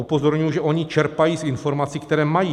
Upozorňuji, že oni čerpají z informací, které mají.